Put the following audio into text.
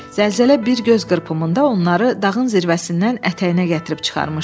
Zəlzələ bir göz qırpımında onları dağın zirvəsindən ətəyinə gətirib çıxarmışdı.